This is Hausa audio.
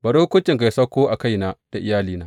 Bari hukuncinka yă sauko a kaina da iyalina.